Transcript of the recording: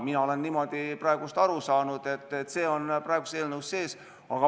Mina olen niimoodi aru saanud, et see on praeguses eelnõus sees.